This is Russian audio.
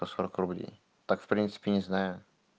по сорок рублей так в принципе не знаю